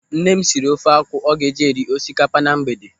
Nne m siri ofe akwụ ọ ga-eji eri osikapa na mgbede.